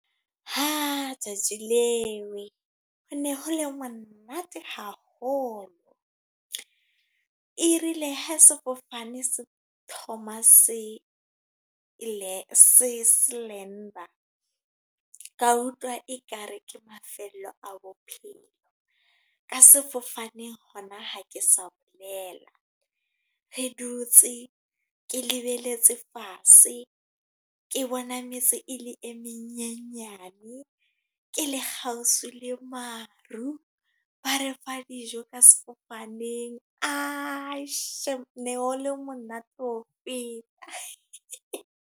Ha! Tsatsi leo, ho ne ho le monate haholo. Erile ha sefofane se thoma se lander, ka utlwa ekare ke mafelo a bophelo. Ka sefofaneng hona, ha ke sa bolela. Re dutse, ke lebeletse fatshe. Ke bona metse e le e menyenyane. Ke le kgaushwi le maru, ba re fa dijo ka sefofaneng. Shame, ne ho le monate ho feta.